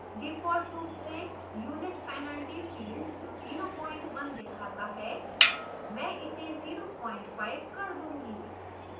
default रूप से unit penalty field 01 दिखाता है